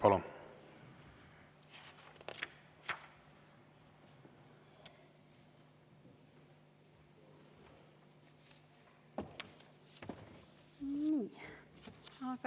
Palun!